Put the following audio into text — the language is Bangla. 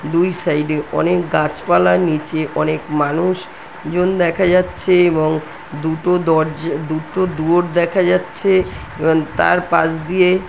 দুই সাইডে অনেক গাছপালা নিচে অনেক মানুষ জন দেখা যাচ্ছে এবং দুটো দরজ দুটো দুয়োর দেখা যাচ্ছে এবং তারপাশ দিয়ে --